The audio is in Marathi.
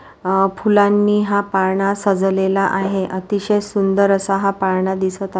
अ फूलानी हा पालना सजावलेला आहे अतिशय सुंदर असा हा पालना दिसत अ--